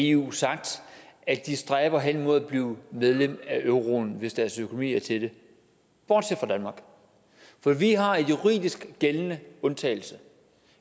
i eu sagt at de stræber hen mod at blive medlem af euroen hvis deres økonomi er til det bortset fra danmark for vi har en juridisk gældende undtagelse